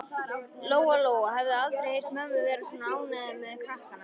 Lóa Lóa hafði aldrei heyrt mömmu vera svona ánægða með krakkana.